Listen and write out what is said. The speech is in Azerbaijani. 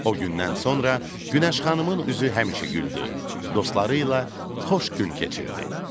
O gündən sonra Günəş xanımın üzü həmişə güldü, dostları ilə xoş gün keçirdi.